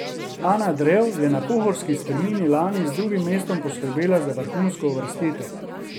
Ana Drev je na pohorski strmini lani z drugim mestom poskrbela za vrhunsko uvrstitev.